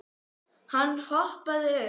Hann hoppaði upp.